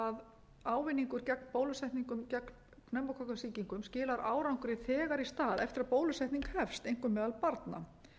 að ávinningur gegn bólusetningum gegn pneumókokkasýkingum skilar árangri þegar í stað eftir að bólusetning hefst einkum meðal barna